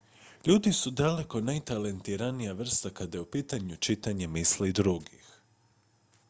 ljudi su daleko najtalentiranija vrsta kad je u pitanju čitanje misli drugih